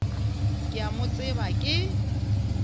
ke a mo tseba ke